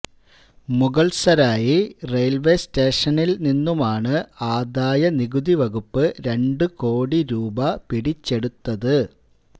Mughalsarai railway സ്റ്റേഷനില്നിന്നുമാണ് ആദായ നികുതി വകുപ്പ് രണ്ട് കോടി രൂപ പിടിച്ചെടുത്തത്